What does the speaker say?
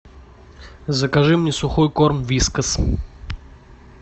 закажи мне сухой корм вискас